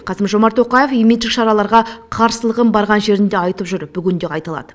қасым жомарт тоқаев имидждік шараларға қарсылығын барған жерінде айтып жүр бүгінде қайталады